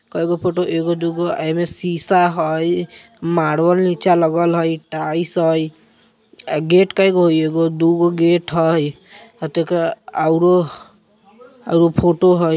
काइगो फोटो एगो-दूगो ये मे शीशा है मार्बेल नीचा लगा है टाइल्स है गेट कइगो एगो-दोगु गेट है आरु फोटो है।